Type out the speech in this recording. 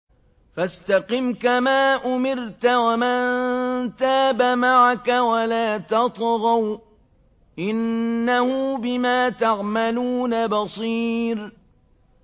فَاسْتَقِمْ كَمَا أُمِرْتَ وَمَن تَابَ مَعَكَ وَلَا تَطْغَوْا ۚ إِنَّهُ بِمَا تَعْمَلُونَ بَصِيرٌ